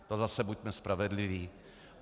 To zase buďme spravedliví.